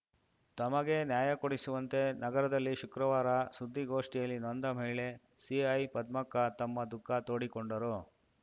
ತಮಗೆ ನ್ಯಾಯ ಕೊಡಿಸುವಂತೆ ನಗರದಲ್ಲಿ ಶುಕ್ರವಾರ ಸುದ್ದಿಗೋಷ್ಠಿಯಲ್ಲಿ ನೊಂದ ಮಹಿಳೆ ಸಿಐಪದ್ಮಕ್ಕ ತಮ್ಮ ದುಖ ತೋಡಿಕೊಂಡರು